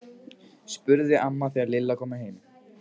spurði amma þegar Lilla kom heim.